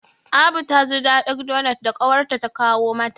Abu ta ji daɗin donot da ƙawarta ta kawo mata.